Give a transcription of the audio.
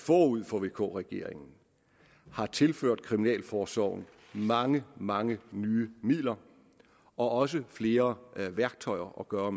forud for vk regeringen har tilført kriminalforsorgen mange mange nye midler og også flere værktøjer at gøre